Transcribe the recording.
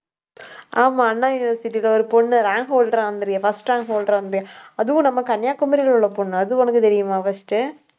ஆமா அண்ணா யுனிவர்சிட்டில ஒரு பொண்ணு rank holder ஆ வந்திருக்கே first rank holder ஆ வந்துதே அதுவும் நம்ம கன்னியாகுமரியில உள்ள பொண்ணு அது உனக்கு தெரியுமா first உ